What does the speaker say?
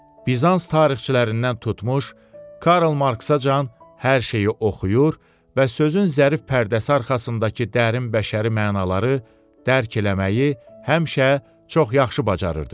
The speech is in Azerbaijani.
Bizans tarixçilərindən tutmuş Karl Marksacan hər şeyi oxuyur və sözün zərif pərdəsi arxasındakı dərin bəşəri mənaları dərk eləməyi həmişə çox yaxşı bacarırdı.